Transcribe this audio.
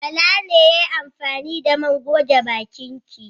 Bala ne ya yi amfani da man goge bakin ki.